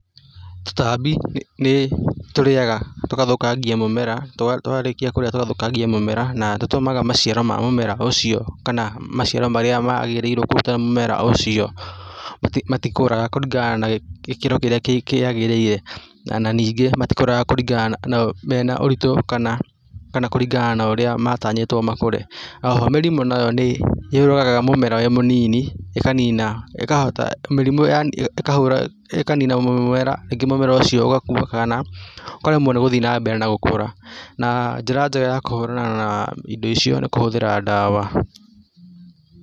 Tũtambi nĩ tũrĩaga tũgathũkangia mũmera, twarĩkia kũrĩa tũgathũkangia mũmera na tũtũma maciaro ma mũmera ũcio kana maciaro marĩa magĩrĩire kũruta mũmera ũcio, matikũraga kũringana na gĩkĩro kĩrĩa kĩagĩrĩire, na ningĩ matikũraga kũringana mena ũritũ, kana kũringana na ũrĩa matanyĩtwo makũre. O ho mĩrimũ nayo nĩ yũragaga mũmera wĩ mũnini, ĩkanina, ĩkahota, mĩrimũ yani ĩkahũra ĩkanina mũmera, rĩngĩ mũmera ũcio ũgakua kana ũkaremwo nĩ gũthiĩ na mbere na gũkũra, na njĩra njega ya kũhũrana na indo icio nĩ kũhũthĩra dawa.